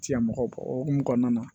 Tiɲɛ mɔgɔ o hokumu kɔnɔna na